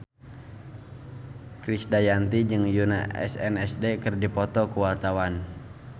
Krisdayanti jeung Yoona SNSD keur dipoto ku wartawan